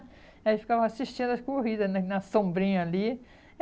Aí ficava assistindo as corridas né na sombrinha ali.